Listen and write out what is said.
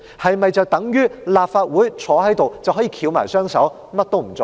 是否等於立法會可以翹起雙手，甚麼也不做呢？